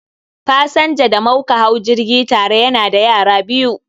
Pasanja da mauka hau jirgi tare yana da yara biyu